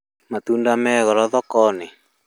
Matunda me goro thoko-inĩ